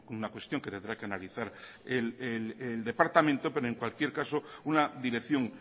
una cuestión que tendrá que analizar el departamento pero en cualquier caso una dirección